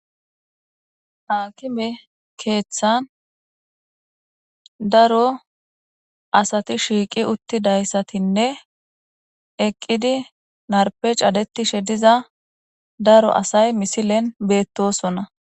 hakime keeththan daro asati shiiqi uttidayssatinne eqqidi narpe cadetishe diza daro asay misilen beettosonna